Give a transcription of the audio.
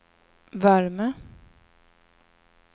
värme